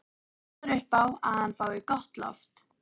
Þú passar upp á að hann fái gott loft.